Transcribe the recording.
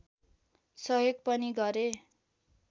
सहयोग पनि गरे